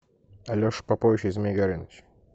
алеша попович и змей горыныч